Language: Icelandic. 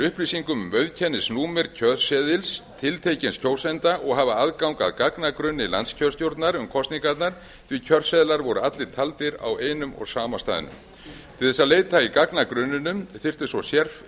upplýsingum um auðkennisnúmer kjörseðils tiltekins kjósanda og hafa aðgang að gagnagrunni landskjörstjórnar um kosningarnar því kjörseðlar voru allir taldir á einum og sama staðnum til að leita í gagnagrunninum þurfti svo